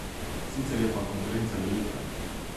Sicer je pa konkurenca velika.